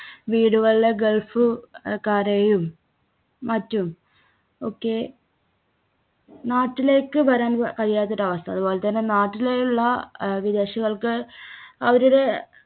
വീടുകളിലെ ഗൾഫ് അഹ് കാരെയും മറ്റും ഒക്കെ നാട്ടിലേക്ക് വരാൻ കഴിയാത്തൊരു അവസ്ഥ. അതുപോലെതന്നെ നാട്ടിലുള്ള അഹ് വിദേശികൾക്ക് അവരുടെ